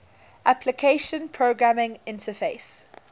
application programming interface